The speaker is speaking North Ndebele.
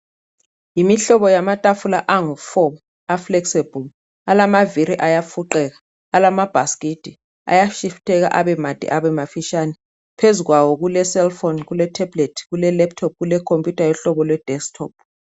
Yimihlobo yamatafula angu four, a flexible, alamaviri ayafuqeka, alamabhaskiti, ayafiltheka abemade abemafitshane, phezulu kwawo kulecellphone, kule tablet, kule laptop, kule computer yohlobo lwe desktop.